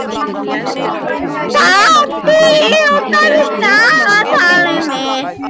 Patti, opnaðu dagatalið mitt.